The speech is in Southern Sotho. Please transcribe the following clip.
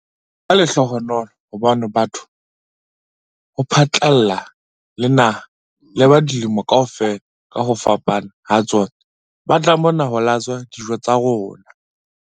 "Ke lehlohonolo hobane batho ho phatlalla le naha le ba dilemo kaofela ka ho fapana ha tsona ba tla mona ho tla latswa dijo tsa rona."